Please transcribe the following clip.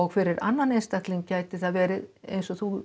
fyrir annan einstakling gæti það verið eins og þú